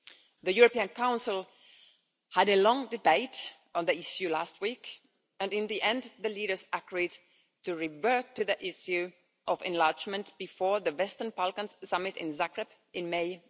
The European Council had a long debate on the issue last week, and in the end, the leaders agreed to revert to the issue of enlargement before the Western Balkans Summit in Zagreb in May